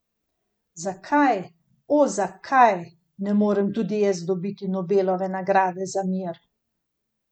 Zakaj, o zakaj, ne morem tudi jaz dobiti Nobelove nagrade za mir?